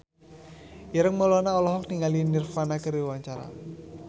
Ireng Maulana olohok ningali Nirvana keur diwawancara